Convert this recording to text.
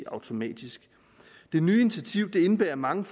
automatisk det nye initiativ indebærer mange